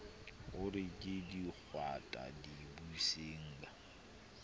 o re ke dikwata dibusenga